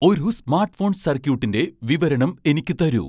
ഒരു smart phone സർക്യൂട്ടിന്റെ വിവരണം എനിക്ക് തരൂ